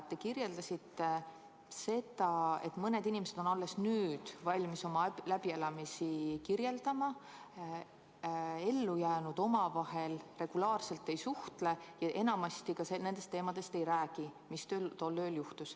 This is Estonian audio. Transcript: Te ütlesite, et mõned inimesed on alles nüüd valmis oma läbielamisi kirjeldama, et ellujäänud omavahel regulaarselt ei suhtle ja sellest, mis tol ööl juhtus, enamasti ei räägi.